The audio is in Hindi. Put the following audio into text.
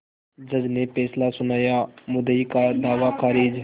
जज ने फैसला सुनायामुद्दई का दावा खारिज